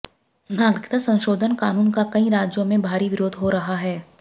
नागरिकता संशोधन कानून का कई राज्यों में भारी विरोध हो रहा है